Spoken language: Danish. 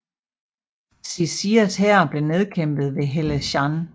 Xi Xias hær blev nedkæmpet ved Helanshan